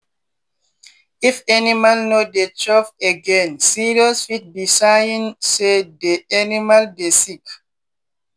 if animal no dey chop againe serious—fit be sign say dey animal dey sick.